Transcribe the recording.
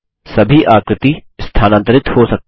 सभी आकृति स्थानांतरित हो सकती हैं